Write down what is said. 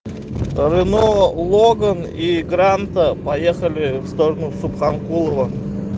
рено логон и гранта поехали в сторону в субханкулово